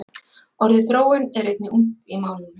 Orðið þróun er einnig ungt í málinu.